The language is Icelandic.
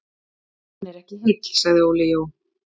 Hann er ekki heill sagði Óli Jó.